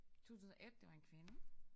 2001 det var en kvinde